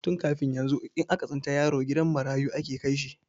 Tun kafin yanzu, in aka tsinta yaro gidan marayu ake kai shi.